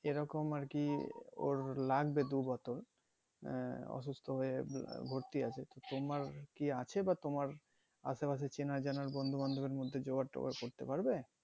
এরকম আরকি লাগবে ওর দুই বছর আহ অসুস্থ হয়ে ভর্তি আছে তো তোমার কি আছে বা তোমার আশেপাশে চেনা জানার বন্ধু বান্ধব এর মধ্যে জোগাড় টোগার করতে পারবে